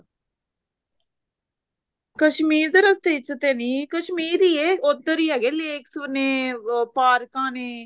ਕਸ਼ਮੀਰ ਦੇ ਰਸਤੇ ਵਿੱਚ ਤੇ ਨਹੀਂ ਕਸ਼ਮੀਰ ਹੀ ਏ ਉੱਧਰ ਹੈਗੇ lakes ਨੇ ਉਹ ਪਾਰਕਾਂ ਨੇ